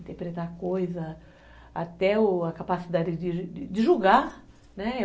Interpretar coisa, até o a capacidade de julgar, né?